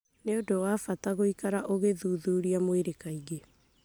nĩ ũndũ wa bata gũikara ũgĩthuthuria mwĩrĩ kaingĩ.